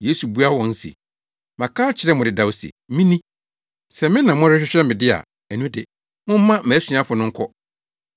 Yesu buaa wɔn se, “Maka akyerɛ mo dedaw se me ni. Sɛ me na morehwehwɛ me de a, ɛno de, momma mʼasuafo no nkɔ.”